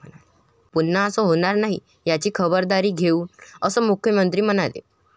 पुन्हा असं होणार नाही याची खबरदारी घेऊ, असं मुख्यमंत्री म्हणाले.